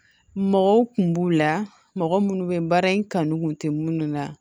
Mɔgɔw kun b'u la mɔgɔ minnu bɛ baara in kanu kun tɛ munnu na